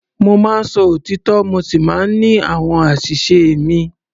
Mo máa ń sọ òtítọ́ mo sì máa ń ní àwọn àṣìṣe mi.